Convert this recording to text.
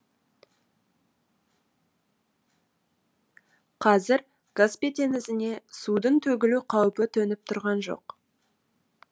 қазір каспий теңізіне судың төгілу қаупі төніп тұрған жоқ